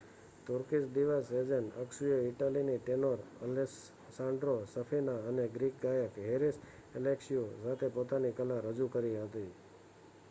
Turkish diva Sezen અક્સુએ ઇટાલીની tenor Alessandro Safina અને ગ્રીક ગાયક હેરીસ એલેક્ષીયુ સાથે પોતાની કલા રજૂ કરી હતી